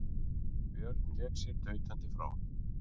Björn vék sér tautandi frá.